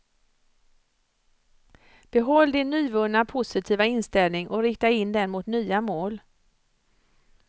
Behåll din nyvunna positiva inställning och rikta in den mot nya mål.